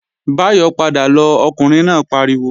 Báyọ̀ padà lọ, Ọkùnrin náà pariwo!